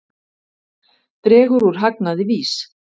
Dregur úr hagnaði VÍS